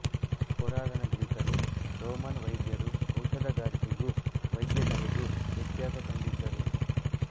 ಪುರಾತನ ಗ್ರೀಕರೂ ರೋಮನ್ ವೈದ್ಯರೂ ಔಷಧಗಾರಿಕೆಗೂ ವೈದ್ಯಕಲೆಗೂ ವ್ಯತ್ಯಾಸ ಕಂಡಿದ್ದರು